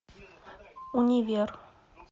универ